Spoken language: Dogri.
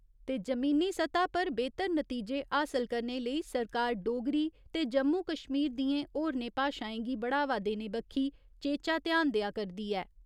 ते जमीनी सतह पर बेह्‌तर नतीजे हासल करने लेई सरकार डोगरी ते जम्मू कश्मीर दियें होरने भाशाएं गी बढ़ावा देने बक्खी चेचा ध्यान देआ करदी ऐ।